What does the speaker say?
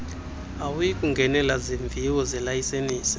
awuyikungenela zimviwo zelayisensi